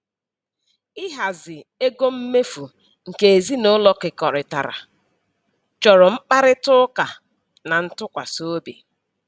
Ihazi ego mmefu nke ezinụlọ kekọrịtara chọrọ mkparịta ụka na ntụkwasịobi